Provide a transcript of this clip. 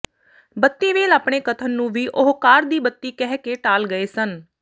ਬੱਤੀ ਵੇਲ ਆਪਣੇ ਕਥਨ ਨੂੰ ਵੀ ਉਹ ਕਾਰ ਦੀ ਬੱਤੀ ਕਹਿ ਕੇ ਟਾਲ ਗਏ ਸਨ